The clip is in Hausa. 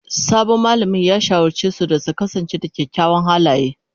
Sabon malamin ya shawarce su da su kasance da kyawawan halaye.